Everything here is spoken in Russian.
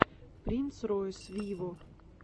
принц ройс виво